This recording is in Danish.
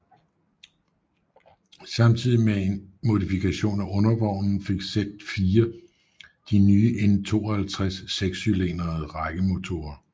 Samtidig med en modifikation af undervognen fik Z4 de nye N52 sekscylindrede rækkemotorer